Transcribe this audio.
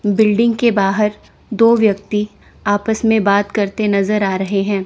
Building के बाहर दो व्यक्ति आपस में बात करते नजर आ रहे हैं।